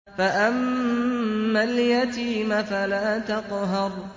فَأَمَّا الْيَتِيمَ فَلَا تَقْهَرْ